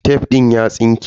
Tef din ya tsinke.